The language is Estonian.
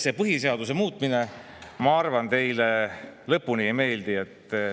See põhiseaduse muutmine, ma arvan, teile lõpuni ei meeldi.